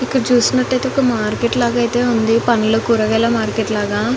ఇక్కడ చుసిన్నాటు అయితే ఒక మార్కెట్ లాగా అయితే ఉంది పండ్లు కూరగాయల మార్కెట్ లాగా .